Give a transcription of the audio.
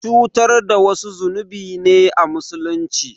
Cutar da wasu zunubi ne a Musulunci.